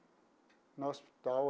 No hospital.